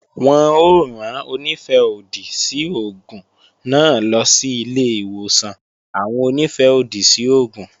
Wọn ó rán Onífẹ́-òdì sí oògùn náà lọ sí ilé-ìwòsàn àwọn Onífẹ́-òdì sí oògùn